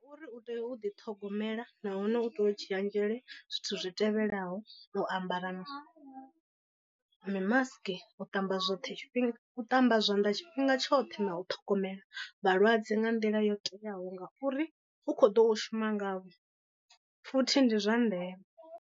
Uri u tea u ḓi ṱhogomela nahone u tea u dzhia nzhele zwithu zwi tevhelaho. U ambara mimasiki, u ṱamba zwoṱhe tshifhinga u ṱamba zwanḓa tshifhinga tshoṱhe na u ṱhogomela vhalwadze nga nḓila yo teaho ngauri u kho ḓo shuma ngavho futhi ndi zwa ndeme.